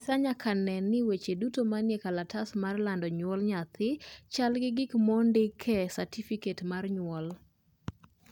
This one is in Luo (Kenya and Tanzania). afisa nyaka nen ni weche duto manie kalatas mar lando nyuol nyathi chal gi gik mondi e satifiket mar nyuol